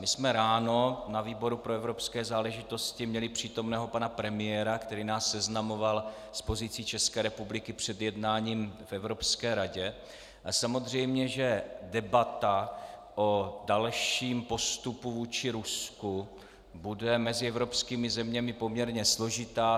My jsme ráno na výboru pro evropské záležitosti měli přítomného pana premiéra, který nás seznamoval s pozicí České republiky před jednáním v Evropské radě, a samozřejmě že debata o dalším postupu vůči Rusku bude mezi evropskými zeměmi poměrně složitá.